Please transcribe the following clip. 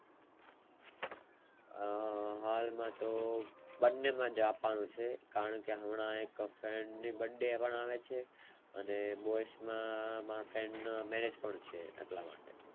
હા હાલ માં તો બંને માટે આપવાનું છે કારણે કે હમણાં એક friend ની પણ birthday આવે છે અને boys માં મારા friend ના Marriage પણ આવે છે એટલા માટે